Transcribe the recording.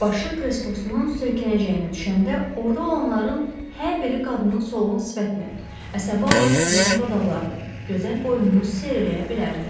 Başı kreslosunun söykənəcəyinə düşəndə orda olanların hər biri qadının solğun sifətini, əsəbi halda titrəyən dodaqlarını, gözəl boynunu seyr eləyə bilərdi.